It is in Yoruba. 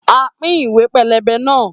A pín ìwé pélébé náà